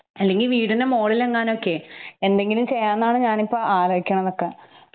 അല്ലെങ്കിൽ വീടിനുമുകളിലെങ്ങാനൊക്കെ എന്തെങ്കിലും ചെയ്യാന്നാണ് ഞാനിപ്പൊ ആലോചിക്കണതൊക്കെ.